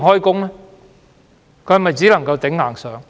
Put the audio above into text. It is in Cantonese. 他們只能"頂硬上"。